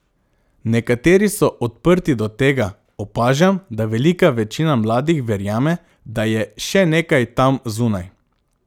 Nekateri so odprti do tega, opažam, da velika večina mladih verjame, da je še nekaj tam zunaj.